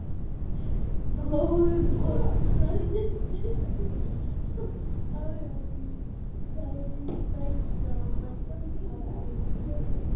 Blóðpollar myndast þá í æðunum, þær stækka og verða að æðahnútum.